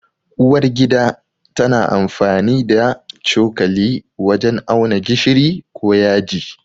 Uwar gida tana amfani da cokali wajen auna gishiri ko yaji.